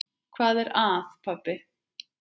Hvað er að, pabbi?